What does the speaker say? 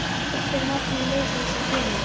Hvert er markmið liðsins í sumar?